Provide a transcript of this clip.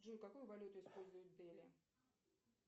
джой какую валюту используют в дели